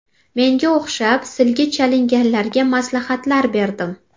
Menga o‘xshab silga chalinganlarga maslahatlar berdim.